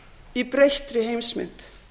í breyttri heimsmynd